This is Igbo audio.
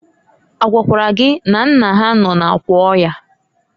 A gwakwara gị na nna ha nọ n'akwa ọya?